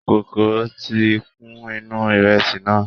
Kòkòrò tí kún inú ìrẹsì náà.